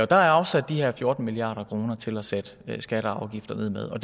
der er afsat de her fjorten milliard kroner til at sætte skatter og afgifter ned med og